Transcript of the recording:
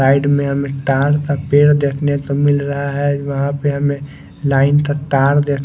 side में हमे ताड़ का पेड़ देखने को मिल रहा है वहां पे हमे लाइन का तार दे--